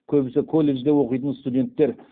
көбісі колледжде оқитын студенттер